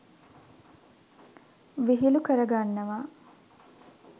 විහිළු කරගන්නවා.